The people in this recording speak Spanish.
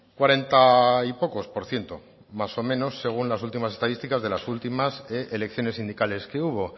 cuarenta y pocos por ciento más o menos según las últimas estadísticas de las últimas elecciones sindicales que hubo